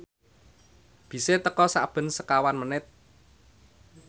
bise teka sakben sekawan menit